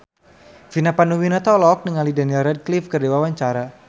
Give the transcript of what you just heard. Vina Panduwinata olohok ningali Daniel Radcliffe keur diwawancara